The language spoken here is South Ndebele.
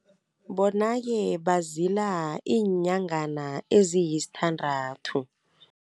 Bonake bazila iinyangana eziyisthandathu.